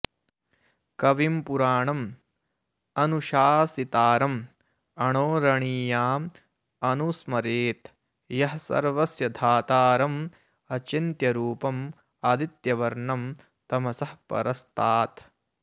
कविं पुराणम् अनुशासितारम् अणोरणीयाम् अनुस्मरेत् यः सर्वस्य धातारम् अचिन्त्यरूपम् आदित्यवर्णं तमसः परस्तात्